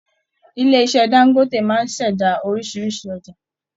Ilé iṣẹ Dangote máa n ṣẹda orísirísi ọjà.